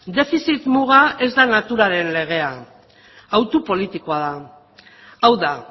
defizit muga ez da naturaren legea autu politikoa da hau da